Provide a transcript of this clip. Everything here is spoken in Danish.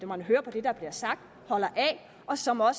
man hører på det der bliver sagt holder af og som har